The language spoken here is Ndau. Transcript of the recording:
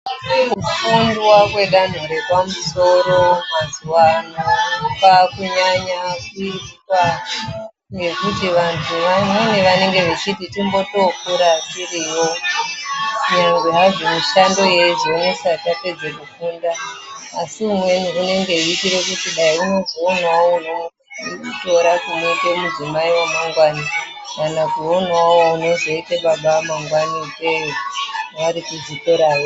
Kufunda kwedanho repamusoro mazuva ano kwakunyanya kuitwa ngekuti vantu vamweni vanenge vachiti totombokura tiriyo nyangwe hazvo mishando yeizonesa tapedze kufunda, Asi umweni unenge eiitire kuti dai unozowanawo unomutora kumuite mudzimai wamangwani kana kuonawo unozoite baba vemangwana vari kuzvikorayo.